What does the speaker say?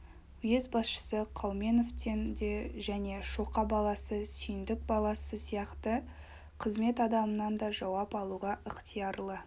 уезд басшысы қауменовтен де және шоқа баласы сүйіндік баласы сияқты қызмет адамынан да жауап алуға ықтиярлы